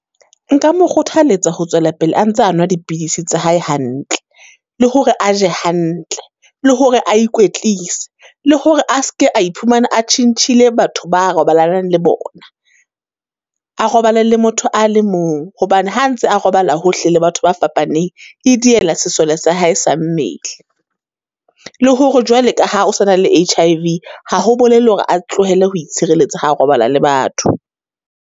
Nka mo kgothaletsa ho tswela pele a ntse a nwa dipidisi tsa hae hantle, le hore a je hantle, le hore a ikwetlise, le hore a se ke a iphumane a tjhentjhile batho ba a robalanang le bona. A robale le motho a le mong, hobane ha a ntse a robala hohle le batho ba fapaneng, e diela sesole sa hae sa mmele. Le hore jwale ka ha o sa na le H_I_V, ha ho bolella hore a tlohele ho itshireletsa ha a robala le batho.